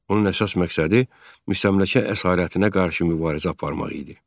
Onun əsas məqsədi müstəmləkə əsarətinə qarşı mübarizə aparmaq idi.